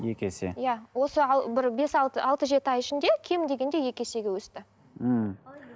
екі есе иә осы ал бір бес алты алты жеті ай ішінде кем дегенде екі есеге өсті мхм